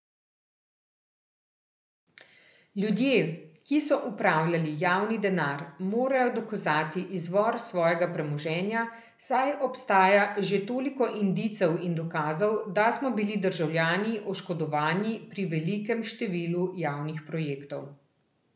Ljudje, ki so upravljali javni denar, morajo dokazati izvor svojega premoženja, saj obstaja že toliko indicev in dokazov, da smo bili državljani oškodovani pri velikem številu javnih projektov.